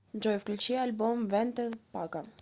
джой включи альбом венте па ка